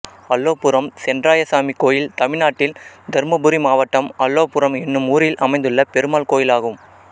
அலோபுரம் சென்றாய சாமி கோயில் தமிழ்நாட்டில் தர்மபுரி மாவட்டம் அலோபுரம் என்னும் ஊரில் அமைந்துள்ள பெருமாள் கோயிலாகும்